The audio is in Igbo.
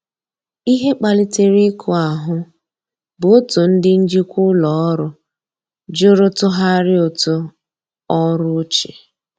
Ihe kpalitere iku ahu bụ otụ ndi njikwa ụlọ ọrụ jụrụ tughari ụtụ ọrụ ochie.